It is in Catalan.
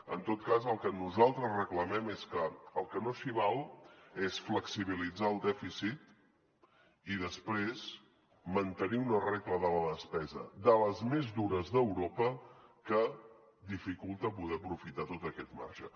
en tot cas el que nosaltres reclamem és que al que no s’hi val és a flexibilitzar el dèficit i després mantenir una regla de la despesa de les més dures d’europa que dificulta poder aprofitar tot aquest marge